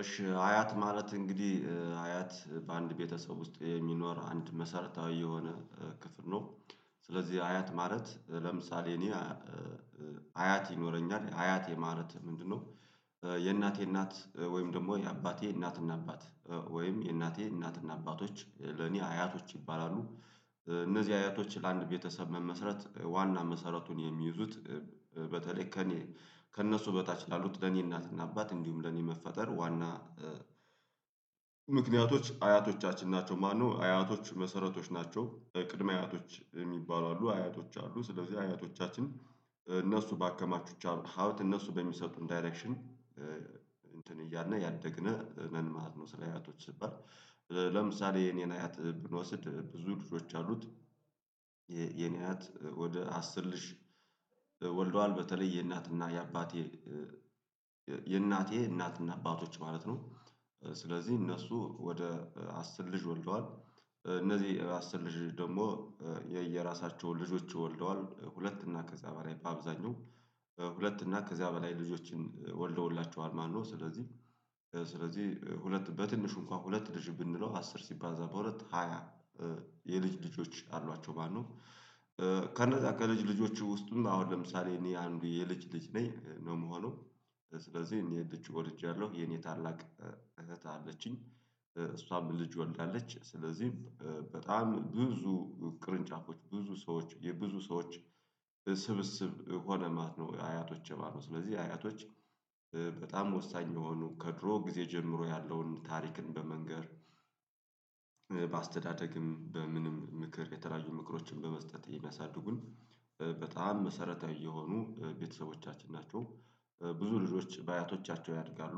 እሺ አያት ማለት እንግዲህ አያት በአንድ ቤተሰብ ውስጥ የሚኖር አንድ መሰረታዊ የሆነ ክፍል ነው። ስለዚህ አያት ማለት ለምሳሌ እኔ አያት ይኖረኛል አያት የማለት ምንድነው? የእናቴ እናት ወይም ደግሞ የአባቴ እናትና አባት ወይም የእናቴ እናትና አባቶች ለኔ አያቶች ይባላሉ። እነዚህ አያቶች ለአንድ ቤተሰብ መመስረት ዋና መሰረቱን የሚይዙት። በተለይ ከእኔ ከእነሱ በታች ላሉት ለኔ እናትና አባት እንዲሁም ለኔ መፈጠር ዋና ምክንያቶች አያቶቻችን ናቸው። ማነው አያቶች መሰረቶች ናቸው። ቅድመ አያቶች የሚባሉ አሉ አያቶች አሉ። ስለዚህ አያቶቻችን እነሱ ባከማቹቻቸው ሀብት እነሱ በሚሰጡን ዳይሬክሽን እንትን እያልን እያደግን ነን ማለት ነው። ስለ አያቶች ስባል የኔን አያት ብንወስድ ብዙ ልጆች አሉት። የኔ አያት ወደ አስር ልጅ ወልዷል። በተለይ የእናትና የአባቴ የእናቴ እናትና አባቶች ማለት ነው። ስለዚህ እነሱ ወደ አስር ልጅ ወልደዋል። እነዚህ አስር ልጅ ደግሞ የየራሳቸው ልጆች ወልደዋል ሁለት እና ከዚያ በላይ በአብዛኛው ሁለት እና ከዚያ በላይ ልጆችን ወልደውላቸዋል ማለትነው። ስለዚህ ስለዚህ ሁለት በትንሹ እንኳን ሁለት ልጅ ብንለው አስር ሲባዛ በሁለት ሃያ የልጅ ልጆች አሏቸው ማለትነው። ከነዛ ከልጅ ልጆቹ ውስጥም አሁን ለምሳሌ እኔ አንዱ የልጅ ልጅ ነኝ ነው ምሆነው። ስለዚህ እኔ ልጅ ወልጅያለው የኔ ታላቅ እህት አለችኝ። እሷም ልጅ ወልዳለች ስለዚህ በጣም ብዙ ቅርንጫፎች ብዙ ሰዎች የብዙ ሰዎች ስብስብ ሆነ ማለት ነው። አያቶቼ ማለት ስለዚህ አያቶች በጣም ወሳኝ የሆኑ ከድሮ ጊዜ ጀምሮ ያለውን ታሪክን በመንገር በአስተዳደግም በምንም ምክር የተለያዩ ምክሮችን በመስጠት የሚያሳድጉን። በጣም መሰረታዊ የሆኑ ቤተሰቦቻችን ናቸው። ብዙ ልጆች በአያቶቻቸው ያድጋሉ።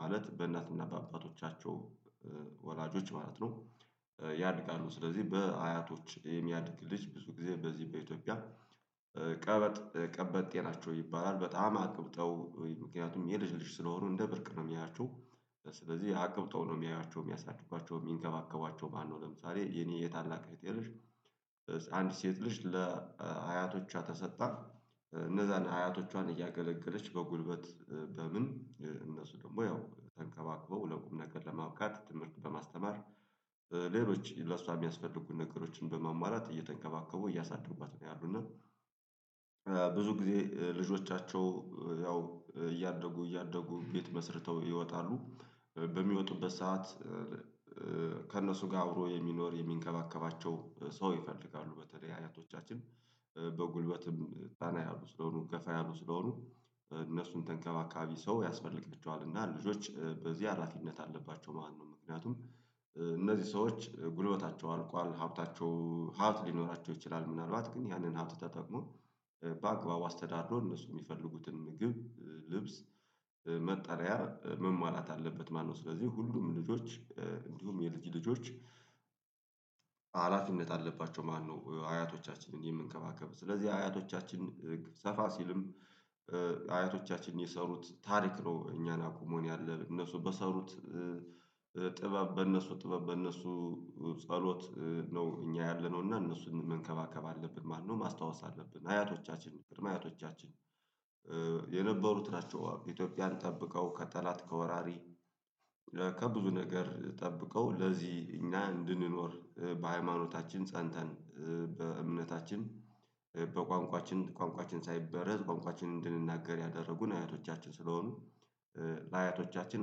ማለት በእናትና በአባቶቻቸው ወላጆች ማለት ነው። ያድጋሉ ስለዚህ በአያቶች የሚያድግ ልጅ ብዙ ጊዜ በዚህ በኢትዮጵያ ቀበጥ ቀበጤ ናቸው። ይባላል በጣም አቅብጠው ምክንያቱም የልጅ ልጅ ስለሆኑ እንደ ብርቅ ነው ሚያያቸው። ስለዚህ አቅብጠው ነው ሚያያቸው ሚያሳድጓቸው ሚንከባከቧቸው ማን ነው? ለምሳሌ የኔ የታላቅ እህቴ ልጅ አንድ ሴት ልጅ ለሀያቶቿ ተሰጣት። እነዛን አያቶቿን እያገለገለች በጉልበት በምን እነሱ ደግሞ ያው ተንከባክበው ለቁም ነገር ለማብቃት ትምህርት በማስተማር። ሌሎች ለሷ የሚያስፈልጉ ነገሮችን በማሙዋላት እየተንከባከቡ እያሳደጓት ነው ያሉት እና። ብዙ ጊዜ ልጆቻቸው ያው እያደጉ እያደጉ ቤት መስርተው ይወጣሉ በሚወጡበት ሰዓት ከእነሱ ጋር አብሮ የሚኖር የሚንከባከባቸው ሰው ይፈልጋሉ። በተለዬ አያቶቻችን ጠና ያሉ ስለሆኑ ገፋ ያሉ ስለሆኑ እነሱን ተንከባካቢ ሰው ያስፈልግልቸዋል። እና ልጆች በዚህ ሀላፊነት አለባቸው ማን ነው ምክንያቱም። እነዚህ ሰዎች ጉልበታቸው አልቋል ሀብታቸው ሀብት ሊኖራቸው ይችላል ምናልባት ግን ያንን ሀብት ተጠቅሞ በአግባቡ አስተዳድሮ እነሱ ሚፈልጉትን ምግብ ልብስ መጠሪያ መሟላት አለበት ማለት ነው። ስለዚህ ሁሉም ልጆች እንዲሁም የልጅ ልጆች ሀላፊነት አለባቸው ማለት ነው። አያቶቻችንን የምንከባከብ ስለዚህ አያቶቻችን ሰፋ ሲልም አያቶቻችን የሰሩት ታሪክ ነው። እኛን አቁሞን ያለ እነሱ በሰሩት ጥበብ በእነሱ ጥበብ በእነሱ ጸሎት ነው። እኛ ያለነው እና እነሱን መንከባከብ አለብን ማነው ማስታወስ አለብን። አያቶቻችን ቅድመአያቶቻችን የነበሩት ናቸው። ኢትዮጵያን ጠብቀው ከጠላት ከወራሪ ከብዙ ነገር ጠብቀው ለዚህ እኛ እንድንኖር በሃይማኖታችን ፀንተን በእምነታችን በቋንቋችን ቋንቋችን ሳይበረዝ ቋንቋችን እንድንናገር ያደረጉን አያቶቻችን ስለሆኑ ለአያቶቻችን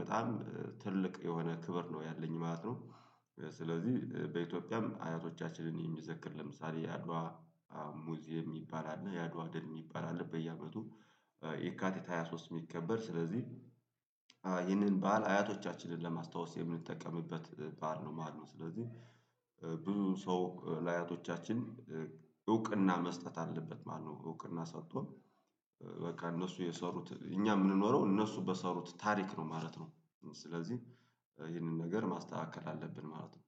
በጣም ትልቅ የሆነ ክብር ነው ያለኝ ማለት ነው። ስለዚህ በኢትዮጵያም አያቶቻችንን የሚዘክር ለምሳሌ የአድዋ ሙዚየም የሚባል አለ። የአድዋ ድል የሚባል አለ። በየአመቱ የካቲት ሃያ ሶስት ሚከበር ስለዚህ ይህንን ባህል አያቶቻችንን ለማስታወስ የምንጠቀምበት ባል ነው ማለት ነው። ስለዚህ ብዙ ሰው ለአያቶቻችን እውቅና መስጠት አለበት ማለት ነው። እውቅና ሰጥቶ በቃ እነሱ የሰሩት እኛ ምንኖረው እነሱ በሰሩት ታሪክ ነው ማለት ነው። ስለዚህ ይህንን ነገር ማስተካከል አለብን ማለት ነው